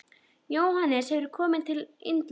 Jóhannes: Hefurðu komið til Indlands?